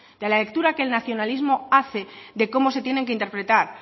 de la lectura que el nacionalismo hace de cómo se tienen que interpretar